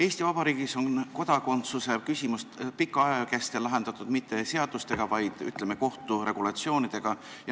Eesti Vabariigis on kodakondsuse küsimusi pika aja kestel lahendatud mitte seaduste alusel, vaid, ütleme, kohturegulatsioonide alusel.